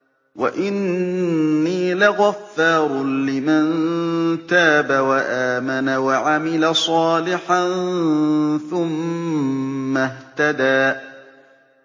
وَإِنِّي لَغَفَّارٌ لِّمَن تَابَ وَآمَنَ وَعَمِلَ صَالِحًا ثُمَّ اهْتَدَىٰ